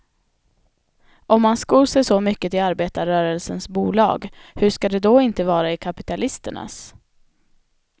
Om man skor sig så mycket i arbetarrörelsens bolag, hur ska det då inte vara i kapitalisternas.